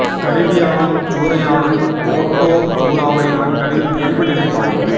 கரீபியாவைச் சூறையாடும் ஓட்டோ சூறாவளி மக்களின் இயல்பு நிலை பாதிப்பு